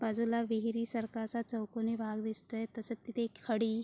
बाजुला विहिरी सारखा चौकणी भाग दिसतोय तसेच तिथे खडी --